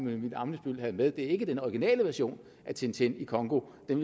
emil ammitzbøll har med ikke er den originale version af tintin i congo den